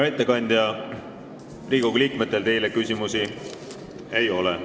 Hea ettekandja, Riigikogu liikmetel teile küsimusi ei ole.